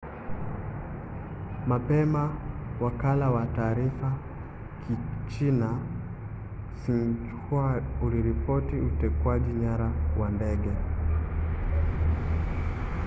mapema wakala wa taarifa wa kichina xinhua uliripoti utekwaji nyara wa ndege